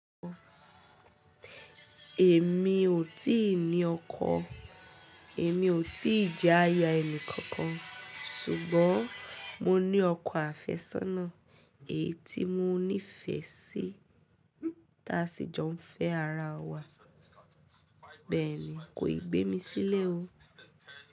Èmi ò tí ì ní ọkọ̀, èmi ò tí ì jẹ aya ẹnì kankan ṣùgbọ́n mo ní ọkọ àfẹ́sọ́nà èyí tí mo nífẹ̀ẹ́ sí tá sì jọ ń fẹ́ ara wa. Bẹ́ẹ̀ ni, kò ì gbé mi sílẹ̀ o.